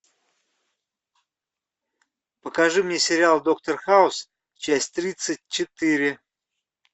покажи мне сериал доктор хаус часть тридцать четыре